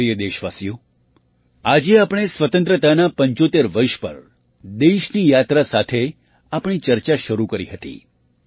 મારા પ્રિય દેશવાસીઓ આજે આપણે સ્વતંત્રતાનાં ૭૫ વર્ષ પર દેશની યાત્રા સાથે આપણી ચર્ચા શરૂ કરી હતી